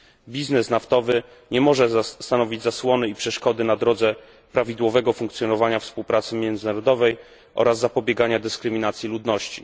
Biznes naftowy nie może stanowić zasłony i przeszkody na drodze DO prawidłowego funkcjonowania współpracy międzynarodowej oraz zapobiegania dyskryminacji ludności.